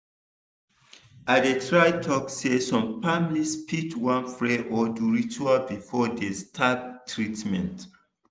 i dey try talk say some families fit wan pray or do ritual before dey start treatment